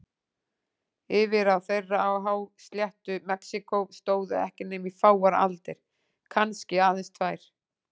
Yfirráð þeirra á hásléttu Mexíkó stóðu ekki nema í fáar aldir, kannski aðeins tvær.